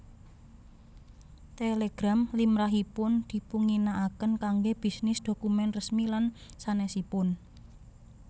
Télégram limrahipun dipunginakaken kanggé bisnis dhokumen resmi lan sanèsipun